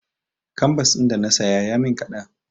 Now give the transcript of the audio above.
Kanbas ɗin da na saya ya min kaɗan.